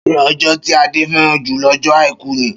Ṣé ọjọ́ tí Ade fẹ́ràn jù lọ́jọ́ Àìkú ni?